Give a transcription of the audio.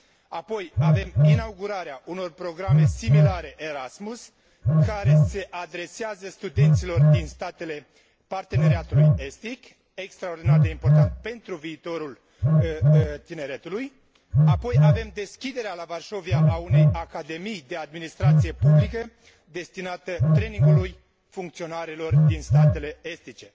apoi avem inaugurarea unor programe similare Erasmus, care se adresează studenților din statele Parteneriatului estic, ceea ce este extraordinar de important pentru viitorul tineretului, apoi avem deschiderea la Varșovia a unei Academii de administrație publică destinate trainingului funcționarilor din statele estice.